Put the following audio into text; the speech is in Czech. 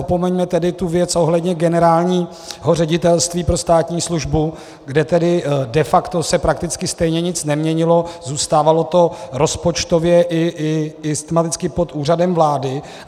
Opomeňme tedy tu věc ohledně Generálního ředitelství pro státní službu, kde tedy de facto se prakticky stejně nic neměnilo, zůstávalo to rozpočtově i systematicky pod Úřadem vlády.